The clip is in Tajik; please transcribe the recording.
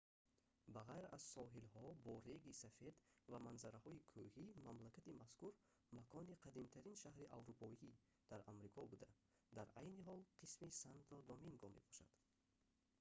ба ғайр аз соҳилҳо бо реги сафед ва манзараҳои кӯҳӣ мамлакати мазкур макони қадимтарин шаҳри аврупоӣ дар амрико буда дар айни ҳол қисми санто доминго мебошад